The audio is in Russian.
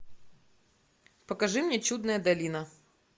покажи мне чудная долина